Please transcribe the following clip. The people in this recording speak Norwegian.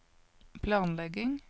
planlegging